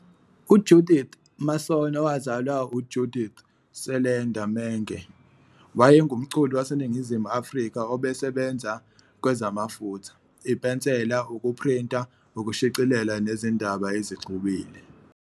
UJudith Mason owazalwa uJudith Seelander Menge wayengumculi waseNingizimu Afrika obesebenza kwezamafutha, ipensela, ukuprinta ukushicilela nezindaba ezixubile.